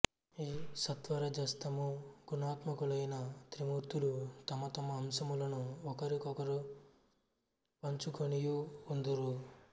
ఈ సత్వరజస్తమో గుణాత్మకులైన త్రిమూర్తులు తమతమ అంశములను ఒకరొకరు పంచుకొనియు ఉందురు